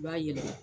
I b'a yɛlɛma